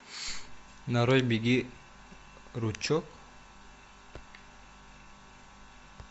нарой беги ручеек